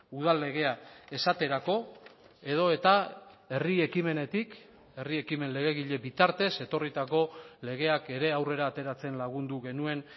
udal legea esaterako edo eta herri ekimenetik herri ekimen legegile bitartez etorritako legeak ere aurrera ateratzen lagundu genuen